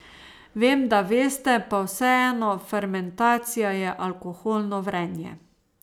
Vem, da veste, pa vseeno, fermentacija je alkoholno vrenje.